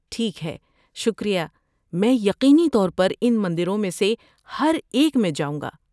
‏ٹھیک ہے، شکریہ، میں یقینی طور پر ان مندروں میں سے ہر ایک میں جاؤں گا